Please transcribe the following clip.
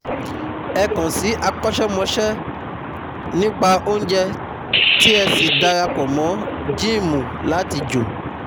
Ẹ kàn sí akọ́ṣẹ́mọṣẹ́ nípa óúnjẹ tí ẹ sì dara pọ̀ mọ́ gíìmù láti jò